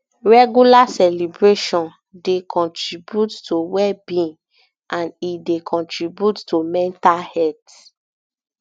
regular celebration um dey contribute to well being and e dey contribute to mental health